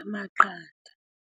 amaqanda.